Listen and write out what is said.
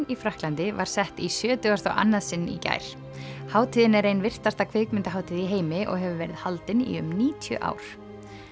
í Frakklandi var sett í sjötugasta og annað sinn í gær hátíðin er ein virtasta kvikmyndahátíð í heimi og hefur verið haldin í um níutíu ár